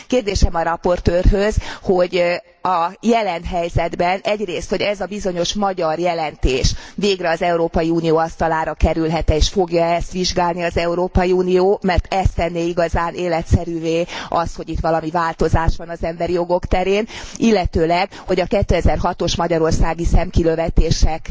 Kérdésem a raportőrhöz, hogy a jelen helyzetben egyrészt, hogy ez a bizonyos magyar jelentés végre az Európai Unió asztalára kerülhet e és fogja e ezt vizsgálni az Európai Unió, mert ez tenné igazán életszerűvé azt, hogy itt valami változás van az emberi jogok terén, illetőleg, hogy a 2006 os magyarországi szemkilövetések